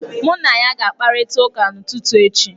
Mụ na ya ga-akparịta ụka n'ụtụtụ echi.